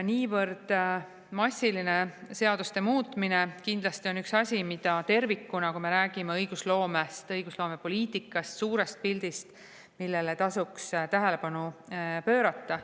Niivõrd massiline seaduste muutmine kindlasti on üks asi, millele tervikuna, kui me räägime õigusloomest, õigusloomepoliitikast, suurest pildist, tasuks tähelepanu pöörata.